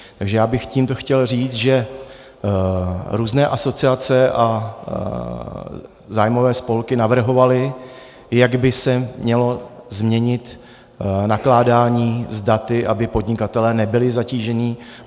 Takže já bych tímto chtěl říct, že různé asociace a zájmové spolky navrhovaly, jak by se mělo změnit nakládání s daty, aby podnikatelé nebyli zatíženi.